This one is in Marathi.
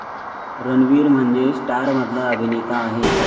रणवीर म्हणजे स्टारमधला अभिनेता आहे.